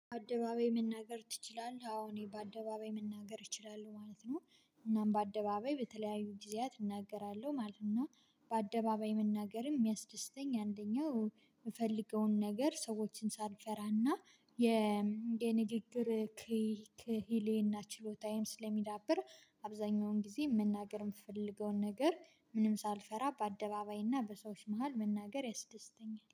አደባባይ መናገር ትችላለህ? አዎ እኔ በአደባባይ መናገር እችላለሁ ማለት ነው። እናም በአደባባይ በተለያዩ ጊዜያት እናገራለሁ ማለት ነው። በአደባባይ መናገርም የሚያስደስተኝ አንደኛው የምፈልገውን ነገር ሰዎችን ሳንፈራና የ የንግግር ክይ ክሂሌና ችሎታዬም ስለሚዳብር አብዛኛውን ጊዜ መናገር የምፈልገውን ነገር ምንም ሳልፈራ በአደባባይና በሰዎች መሃል መናገር ያስደስተኛል